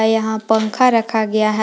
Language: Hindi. में यहां पंखा रखा गया है।